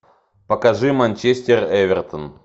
покажи манчестер эвертон